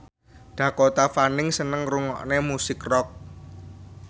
Dakota Fanning seneng ngrungokne musik rock